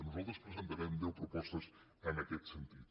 nosaltres presentarem deu propostes en aquest sentit